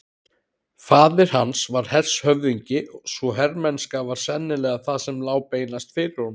Faðir hans var hershöfðingi svo hermennska var sennilega það sem lá beinast fyrir honum.